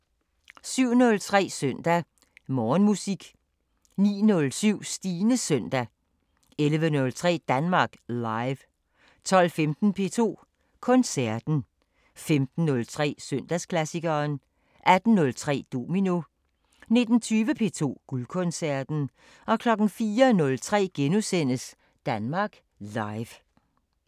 07:03: Søndag Morgenmusik 09:07: Stines Søndag 11:03: Danmark Live 12:15: P2 Koncerten 15:03: Søndagsklassikeren 18:03: Domino 19:20: P2 Guldkoncerten 04:03: Danmark Live *